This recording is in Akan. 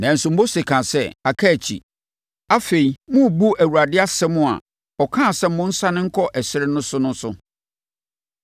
Nanso, Mose kaa sɛ, “Aka akyi. Afei, morebu Awurade asɛm a ɔkaa sɛ monsane nkɔ ɛserɛ so no so.